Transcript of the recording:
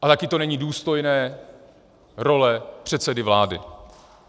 A také to není důstojné role předsedy vlády.